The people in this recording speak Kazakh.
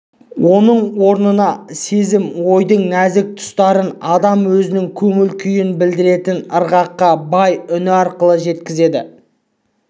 оның орнына сезім ойдың нәзік тұстарын адам өзінің көңіл-күйін білдіретін ырғаққа бай үні арқылы жеткізеді